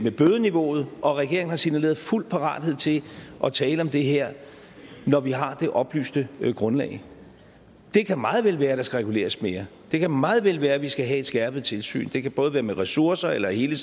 bødeniveauet og regeringen har signaleret fuld parathed til at tale om det her når vi har det oplyste grundlag det kan meget vel være at der skal reguleres mere det kan meget vel være at vi skal have et skærpet tilsyn det kan både være med ressourcer eller af hele